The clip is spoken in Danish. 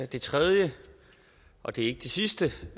det tredje og det er ikke det sidste